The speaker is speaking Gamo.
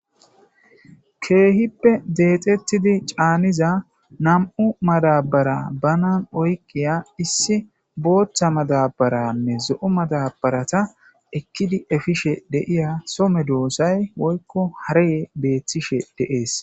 Keehippe dexetid caaniza nam'u madabara bana oykiya issi Bootha madabaranne zo'o madabarata ekidi efishe de'iya soo medosay woyko harry betishe de'es.